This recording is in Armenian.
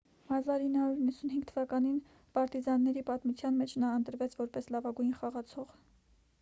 1995 թվականին պարտիզանների պատմության մեջ նա ընտրվեց որպես լավագույն խաղացող